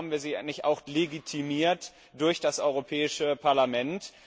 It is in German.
Warum bekommen wir sie nicht auch legitimiert durch das Europäische Parlament?